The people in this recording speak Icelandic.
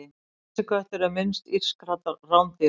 hreysiköttur er minnst írskra rándýra